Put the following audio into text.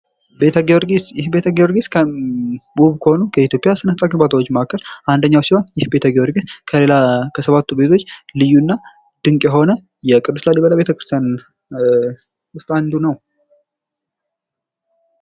ቤተ ጊዮርጊስ ይህ ቤተ ጊዮርጊስ ውብ ከሆኑ ከኢትዮጵያ ስነህንጻ ግንባታዎች መካከል አንደኛው ሲሆን ይህ ቤተ ጊዮርጊስ ከሌላ ከ7ቱ ቤቶች ልዩና ድንቅ የሆነ የቅዱስ ላሊበላ ቤተክርስቲያን ውስጥ አንዱ ነው።